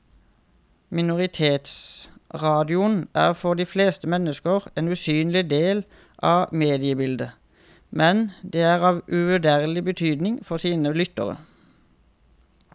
Minoritetsradioene er for de fleste mennesker en usynlig del av mediebildet, men de er av uvurderlig betydning for sine lyttere.